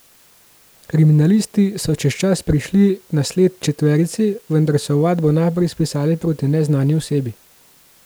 Kriminalisti so čez čas prišli na sled četverici, vendar so ovadbo najprej spisali proti neznani osebi.